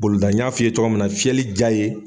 Bolida ɲa fi ye cogoya min na fiyɛli diya ye.